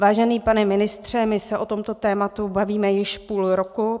Vážený pane ministře, my se o tomto tématu bavíme již půl roku.